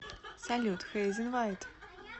салют хейзен вайт